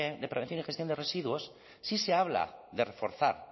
de prevención y gestión de residuos sí se habla de reforzar